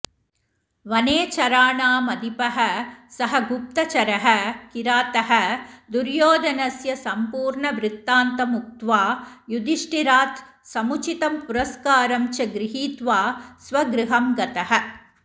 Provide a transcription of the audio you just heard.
वनेचराणामधिपः सः गुप्तचरः किरातः दुर्योधनस्य सम्पूर्णवृत्तान्तमुक्त्वा युधिष्ठिरात् समुचितं पुरस्कारं च गृहीत्वा स्व गृहं गतः